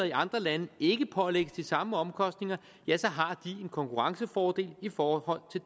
i andre lande ikke pålægges de samme omkostninger har de en konkurrencefordel i forhold